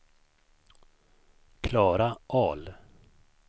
Klara Ahl